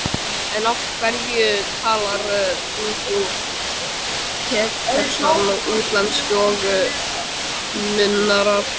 En af hverju talar þá frú Pettersson útlensku, og nunnurnar?